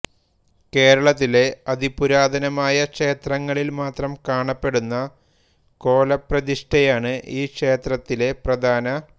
കേരളത്തിലെ അതിപുരാതനമായ ക്ഷേത്രങ്ങളിൽ മാത്രം കാണപ്പെടുന്ന കോലപ്രതിഷ്ഠയാണ് ഈ ക്ഷേത്രത്തിലെ പ്രധാന